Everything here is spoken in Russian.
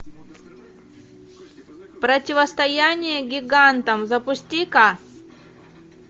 противостояние гигантам запусти ка